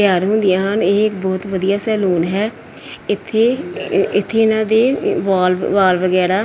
ਤਿਆਰ ਹੁੰਦੀਆਂ ਹਨ ਇਹ ਇੱਕ ਬਹੁਤ ਵਧੀਆ ਸੈਲੂਨ ਹੈ ਇੱਥੇ ਇੱਥੇ ਇਹਨਾਂ ਦੇ ਵਾਲ ਵਾਲ ਵਗੈਰਾ--